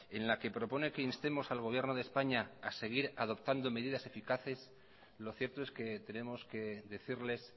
en la que propone que instemos al gobierno de españa ha seguir adoptando medidas eficaces lo cierto es que tenemos que decirles